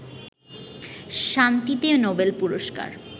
শান্তিতে নোবেল পুরস্কার